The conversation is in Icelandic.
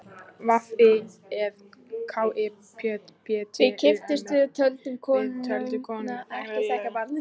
Við kipptumst við, töldum konuna ekki þekkja barnið.